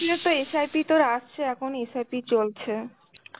তো SIP তোর আসছে, এখন SIP চলছে.